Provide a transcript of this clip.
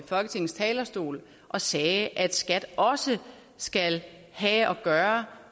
folketingets talerstol og sagde at skat også skal have at gøre